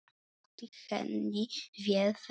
Sóttist henni vel ferðin.